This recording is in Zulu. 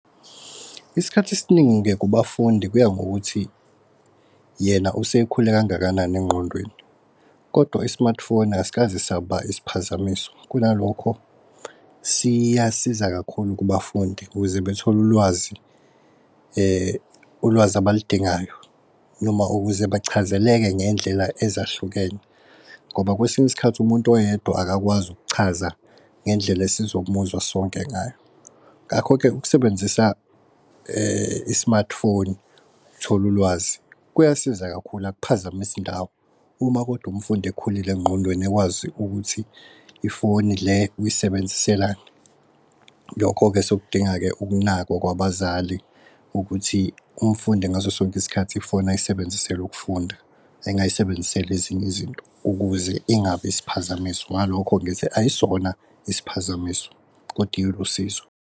Isikhathi esiningi-ke kubafundi kuya ngokuthi yena usekhule kangakanani engqondweni. Kodwa i-smart foni asikaze saba isiphazamiso kunalokho siyasiza kakhulu kubafundi ukuze bethole ulwazi ulwazi abal'dingayo, noma ukuze bachazeleke ngendlela ezahlukene. Ngoba kwesinye isikhathi umuntu oyedwa akakwazi ukuchaza ngendlela esizomuzwa sonke ngayo. Ngakho-ke ukusebenzisa i-smart foni uthole ulwazi kuyasiza kakhulu, akuphazamisi indawo. Uma kodwa umfundi ekhulile engqondweni ekwazi ukuthi ifoni le uyisebenziselani. Lokho-ke sekudinga-ke ukunakwa kwabazali ukuthi umfundi ngaso sonke isikhathi ifoni ayisebenzisele ukufunda, engayisebenziseli ezinye izinto ukuze ingabi isiphazamiso. Ngalokho ngithi ayisona isiphazamiso kodwa ilusizo.